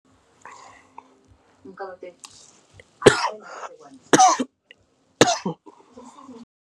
ku nkarhi for for